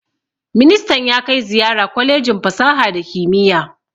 Ministan ya kai ziyara kwalejin fasaha da kimiyya